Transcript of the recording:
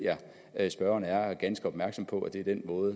at spørgeren er ganske opmærksom på at det er den måde